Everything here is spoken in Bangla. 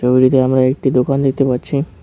ওইদিকে আমরা একটি দোকান দেখতে পারছি।